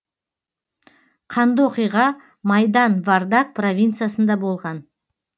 қанды оқиға майдан вардак провинциясында болған